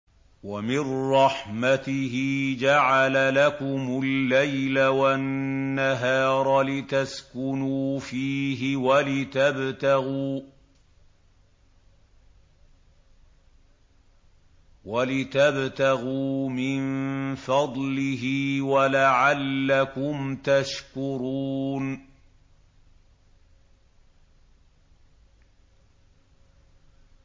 وَمِن رَّحْمَتِهِ جَعَلَ لَكُمُ اللَّيْلَ وَالنَّهَارَ لِتَسْكُنُوا فِيهِ وَلِتَبْتَغُوا مِن فَضْلِهِ وَلَعَلَّكُمْ تَشْكُرُونَ